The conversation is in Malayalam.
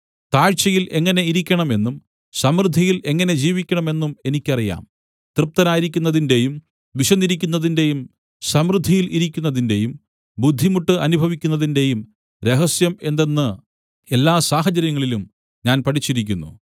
താഴ്ചയിൽ എങ്ങനെ ഇരിക്കണം എന്നും സമൃദ്ധിയിൽ എങ്ങനെ ജീവിക്കണമെന്നും എനിയ്ക്കറിയാം തൃപ്തനായിരിക്കുന്നതിന്റെയും വിശന്നിരിക്കുന്നതിന്റെയും സമൃദ്ധിയിൽ ഇരിക്കുന്നതിന്റെയും ബുദ്ധിമുട്ട് അനുഭവിക്കുന്നതിന്റെയും രഹസ്യം എന്തെന്ന് എല്ലാ സാഹചര്യങ്ങളിലും ഞാൻ പഠിച്ചിരിക്കുന്നു